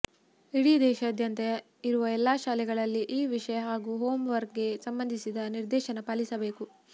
ಇಡೀ ದೇಶದಾದ್ಯಂತ ಇರುವ ಎಲ್ಲ ಶಾಲೆಗಳಲ್ಲಿ ಈ ವಿಷಯ ಹಾಗೂ ಹೋಮ್ ವರ್ಕ್ ಗೆ ಸಂಬಂಧಿಸಿದ ನಿರ್ದೇಶನ ಪಾಲಿಸಬೇಕು